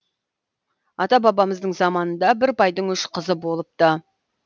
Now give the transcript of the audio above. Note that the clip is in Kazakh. ата бабамыздың заманында бір байдың үш қызы болыпты